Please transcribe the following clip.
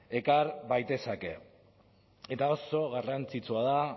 ekar baitezake eta oso garrantzitsua da